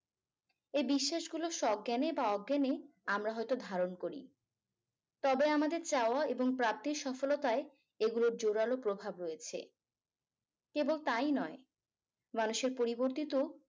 এই বিশ্বাসগুলো স্বজ্ঞানে বা অজ্ঞানে আমরা হয়তো ধারণ করি তবে আমাদের চাওয়া এবং প্রাপ্তির সফলতায় এগুলোর জোড়ালো প্রভাব রয়েছে এবং তাই নয় মানুষের পরিবর্তিত